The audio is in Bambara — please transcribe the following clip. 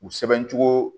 U sɛbɛncogo